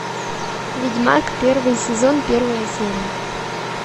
ведьмак первый сезон первая серия